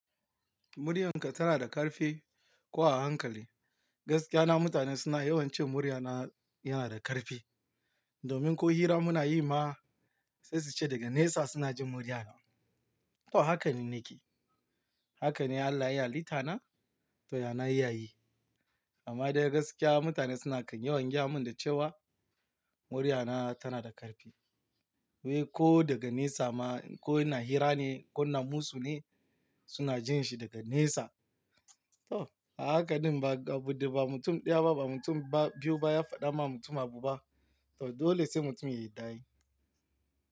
Muryarka tana da ƙarfi ko a hankali? Gaskiya na mutane suna yawan ce muryana yana da ƙarfi. Domin ko hira muna yi ma sai su ce daga nesa suna jin muryana. To haka ni nake. Haka ne Allah ya halitta na, to yana iya yi. Amma dai gaskiya mutane suna kan yawan gyamin da cewa muryana tana da ƙarfi. Wai ko daga nesa ma ko ina hira ne ko in musu ne suna jin shi daga nesa. To a haka ɗin ba, abin da ba mutum ɗaya ba, ba mutum ba biyu ba ya faɗa ma mutum abu ba, to dole sai mutum ya yadda ai.